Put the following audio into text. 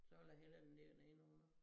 Så ville jeg hellere den ligger derinde under